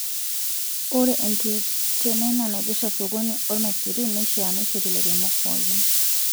Ore enkitenena naipirta sokoni oo irmaisurin neishaa neishori lairemok pookin